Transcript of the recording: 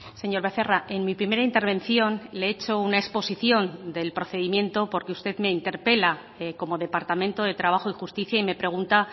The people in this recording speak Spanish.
señor becerra en mi primera intervención le he hecho una exposición del procedimiento porque usted me interpela como departamento de trabajo y justicia y me pregunta